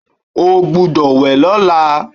O gbúdọ̀ wẹ̀ lọ́la.